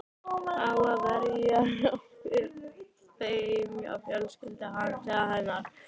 Á að verja þeim hjá fjölskyldu hans eða hennar?